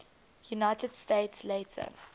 united states later